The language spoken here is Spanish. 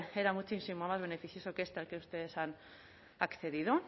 era muchísimo más beneficioso que este al que ustedes han accedido